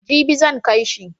Jibi zan kai shi.